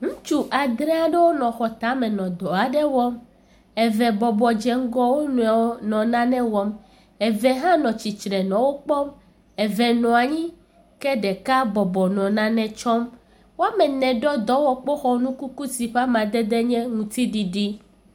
Ŋutsu adre aɖewo nɔ xɔ tame nɔ dɔ aɖe wɔm. Eve dze ŋgɔ wo nɔewo nɔ nane wɔm. Eve hã nɔ tsitsre nɔ wokpɔm. Eve nɔ anyi ke ɖeka bɔbɔ nɔ nane tsɔm Woame ene ɖɔ dɔwɔkpoxɔnukuku yi ƒe amadede nye ŋutiɖiɖi.